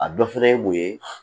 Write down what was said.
A dɔ fana ye mun ye